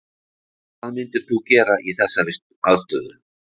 Hvað myndir þú gera í þessari aðstöðu?